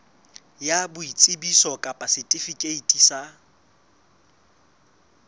ya boitsebiso kapa setifikeiti sa